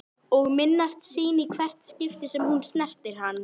Og minnast sín í hvert skipti sem hún snerti hann.